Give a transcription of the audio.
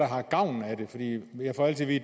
har gavn af det jeg får altid